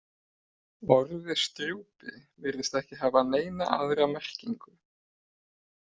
Orðið strjúpi virðist ekki hafa neina aðra merkingu.